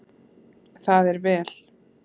Það er vel